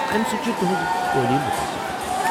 امہِ سۭتۍ چھِ تہنٛز تعلیم متٲثر گژھان۔